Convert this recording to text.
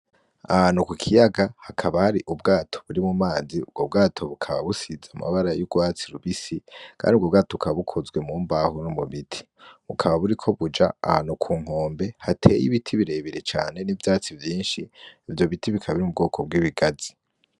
Ahantu kukiyaga hakaba har'ubwato buri mu mazi .ubwo bwato bukaba busize amabara y'urwatsi rubisi kand'ubwo bwato bukaba bukozwe mu mbaho no mubiti bukaba buriko buja ahantu ku nkombe hatey'ibiti birebire cane n'ivyatsi, vyinshi, ivyo biti bikaba biri mi bwoko bw'ibigazi.